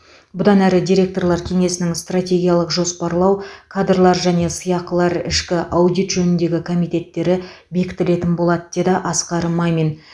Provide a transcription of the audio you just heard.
бұдан әрі директорлар кеңесінің стратегиялық жоспарлау кадрлар және сыйақылар ішкі аудит жөніндегі комитеттері бекітілетін болады деді асқар мамин